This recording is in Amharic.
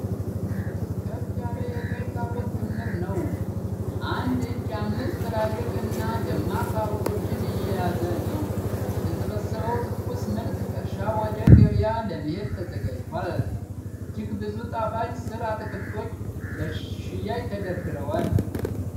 ከፍ ያለ የቀይ ካሮት ክምር ነው። አንድ እጅ አምስት ትላልቅ እና ደማቅ ካሮቶችን እየያዘ ነው። የተሰበሰበው ትኩስ ምርት ከእርሻ ወደ ገበያ ለመሄድ ተዘጋጅቷል። እጅግ ብዙ ጣፋጭ ሥር አትክልቶች ለሽያጭ ተደርድረዋል።